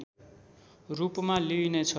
रूपमा लिइनेछ